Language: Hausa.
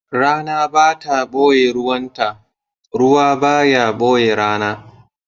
Rana ba ta ɓoye ruwanta, ruwa ba ya ɓoye rana.